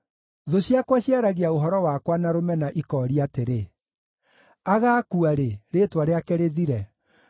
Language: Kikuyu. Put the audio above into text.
Thũ ciakwa ciaragia ũhoro wakwa na rũmena ikooria atĩrĩ, “Agakua rĩ, rĩĩtwa rĩake rĩthire?”